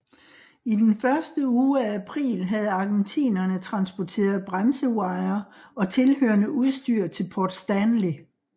I den første uge af april havde argentinerne transporteret bremsewire og tilhørende udstyr til Port Stanley